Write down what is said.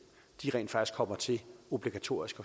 rent faktisk kommer til obligatorisk